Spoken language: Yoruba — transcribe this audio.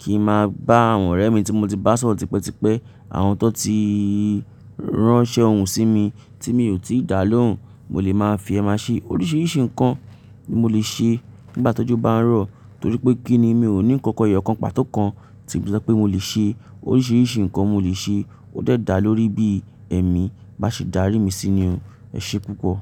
kì ń máa bá àwọn ọ̀rẹ́ mi tí mo ti bá sọ̀rotípẹ́tipẹ́, àwọn tó ti ránṣẹ́ ohùn sí mi tí mi ò tíì dá lóhùn, mo lè máa fi ẹ́ máa ṣe. Oríṣiríṣi nǹkan ni mo lè ṣe nígbà ti ojo bá ń rọ̀ torí pé kí ni mi ò ní nǹkan eyo ọ̀kan pàtó kan tí mo le so pé mo lè ṣe. Oríṣiríṣi nǹkan mo lè ṣe ó dàá lórí bí ẹ̀mí bá ṣe darí mi sí i ni. Ẹ ṣe púpọ̀.